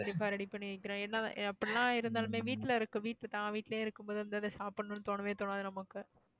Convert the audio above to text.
கண்டிப்பா ready பண்ணி வைக்கிறேன் ஏன்னா அப்படி எல்லாம் இருந்தாலுமே வீட்டுல இருக்கு வீட்டு தான் வீட்டிலேயே இருக்கும்போது வந்து அத சாப்பிடணும்ன்னு தோணவே தோணாது நமக்கு